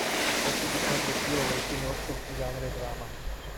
хочу посмотреть клевую киношку в жанре драма